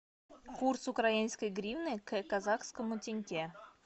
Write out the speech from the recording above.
курс украинской гривны к казахскому тенге